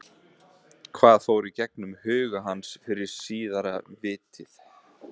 Hvað fór í gegnum huga hans fyrir síðara vítið?